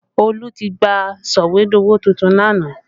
Olu tí gba sọ̀wédowó tuntun lánàá